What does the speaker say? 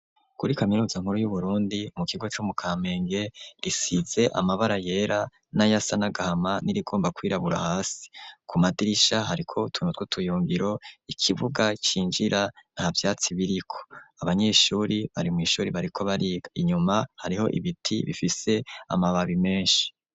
Kuri kaminuza nkuru y'uburundi mu kigo cyo mu kampenge risize amabara yera n'ayasanagahama n'irigomba kwirabura hasi ku madirisha hariko utuntu twutuyungiro ikibuga cinjira nta vyatsi biriko abanyeshuri bari mwishuri bariko bariga inyuma hariho ibiti bifise amababi menshi.